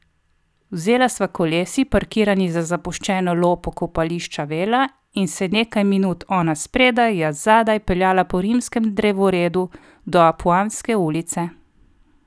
Vzela sva kolesi, parkirani za zapuščeno lopo kopališča Vela, in se nekaj minut, ona spredaj, jaz zadaj, peljala po Rimskem drevoredu do Apuanske ulice.